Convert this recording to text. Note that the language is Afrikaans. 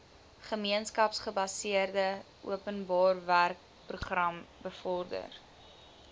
gemeenskapsgebaseerde openbarewerkeprogram bevorder